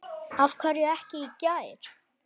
Af hverju ekki í gær?